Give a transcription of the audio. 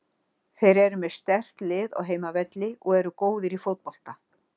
Þeir eru með sterkt lið á heimavelli og eru góðir í fótbolta.